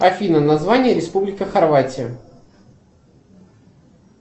афина название республика хорватия